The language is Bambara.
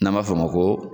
N'an b'a f'o ma ko